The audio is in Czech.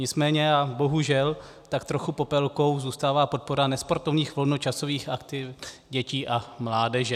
Nicméně a bohužel tak trochu Popelkou zůstává podpora nesportovních volnočasových aktivit dětí a mládeže.